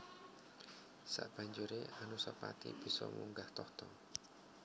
Sabanjuré Anusapati bisa munggah tahta